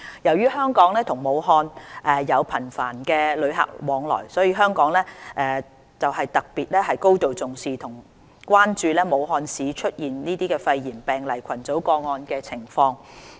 由於香港與武漢有頻繁的旅客往來，香港特別行政區政府高度重視和關注武漢市出現肺炎病例群組個案的情況。